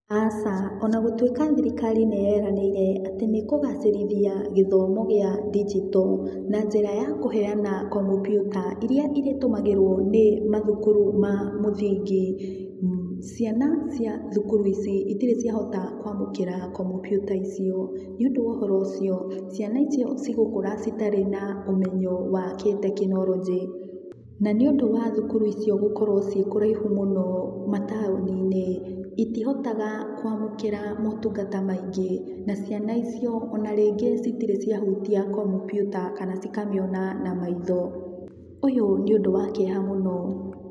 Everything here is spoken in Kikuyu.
Aca, ona gũtũĩka thirikari nĩyeranĩire atĩ nĩkũgacĩrithia gĩthomo gĩa digital na njĩra ya kũheana kompiuta iria ĩrĩtũmagĩrwo nĩ mathukuru ma mũthingi, ciana cia thukuru ici itirĩ ciahota kwamũkĩra komputa icio. Nĩ ũndũ wa ũhoro ũcio ciana icio igũkũra itarĩ na ũmenyo wa gĩtekinoronjĩ, na nĩ ũndũ wa thukuru icio gũkorwo ciĩ kũraihu mũno na mataũninĩ, itihotahaga kwamũkĩra motungata maingĩ, na ciana icio ona rĩngĩ itirĩ ciahutia kompiuta kana cikamĩona na maitho ũyũ nĩ ũndũ wa kĩeha mũno.